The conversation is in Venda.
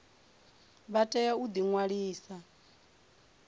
vha tea u ḓi ṅwalisa